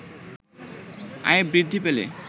আয় বৃদ্ধি পেলে